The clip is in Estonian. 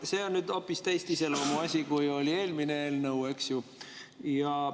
See on hoopis teise iseloomuga asi, kui oli eelmine eelnõu, eks ju.